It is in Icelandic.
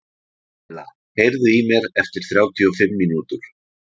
Læla, heyrðu í mér eftir þrjátíu og fimm mínútur.